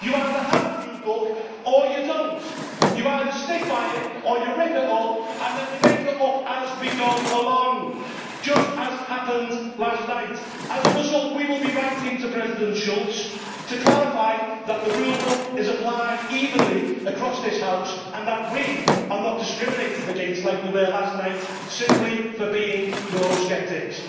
You either have a rule book or you do not. You either stick by it or you rip it up and then we make it up as we go along, just as happened last night. As a result, we will be writing to President Schulz to clarify that the rule book is applied evenly across this House and that we are not discriminated against, like we were last night, simply for being Eurosceptics.